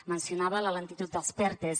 mencionava la lentitud dels pertes